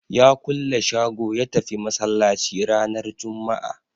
Ya kulle shago ya tafi Masallaci ranar Jumma'a